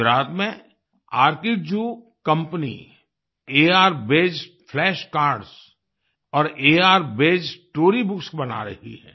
गुजरात में अर्किड्जू आर्किड्जू कंपनी अर्बेस्ड फ्लैश कार्ड्स और अर्बेस्ड स्टोरीबुक्स बना रही हैं